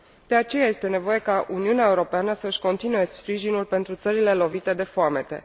De aceea, este nevoie ca Uniunea Europeană să își continue sprijinul pentru țările lovite de foamete.